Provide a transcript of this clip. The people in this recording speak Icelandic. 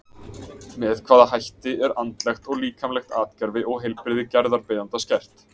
Með hvaða hætti er andlegt og líkamlegt atgervi og heilbrigði gerðarbeiðanda skert?